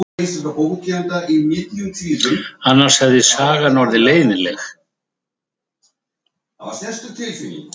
Annars hefði sagan orðið leiðinleg.